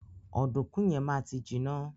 Ọdunkun yẹn ma ti jiná.